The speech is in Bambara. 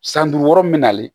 San duuru min nalen